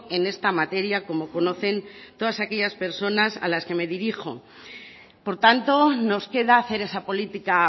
en esta materia como conocen todas aquellas personas a las que me dirijo por tanto nos queda hacer esa política